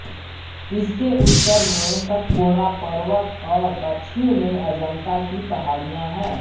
इसके उत्तर में सतपुड़ा पर्वत और दक्षिण में अजंता की पहाड़ियाँ है